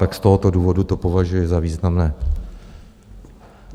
Tak z tohoto důvodu to považuji za významné.